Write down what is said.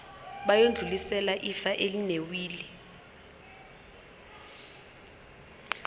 bayodlulisela ifa elinewili